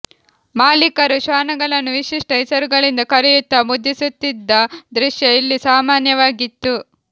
ಮಾಲೀಕರು ಶ್ವಾನಗಳನ್ನು ವಿಶಿಷ್ಟ ಹೆಸರುಗಳಿಂದ ಕರೆಯುತ್ತಾ ಮುದ್ದಿಸುತ್ತಿದ್ದ ದೃಶ್ಯ ಇಲ್ಲಿ ಸಾಮಾನ್ಯವಾಗಿತ್ತು